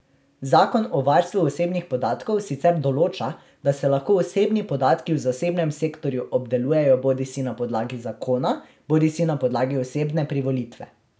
Zakon o varstvu osebnih podatkov sicer določa, da se lahko osebni podatki v zasebnem sektorju obdelujejo bodisi na podlagi zakona bodisi na podlagi osebne privolitve.